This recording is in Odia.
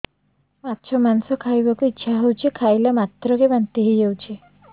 ମାଛ ମାଂସ ଖାଇ ବାକୁ ଇଚ୍ଛା ହଉଛି ଖାଇଲା ମାତ୍ରକେ ବାନ୍ତି ହେଇଯାଉଛି